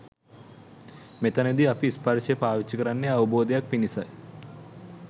මෙතැනදී අපි ස්පර්ශය පාවිච්චි කරන්නේ අවබෝධයක් පිණිසයි.